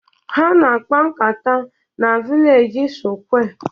Ha na akpa-nkata na vilej sụkwé